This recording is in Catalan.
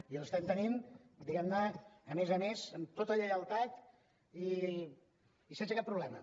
i els estem tenint diguem ne a més a més amb tota lleialtat i sense cap problema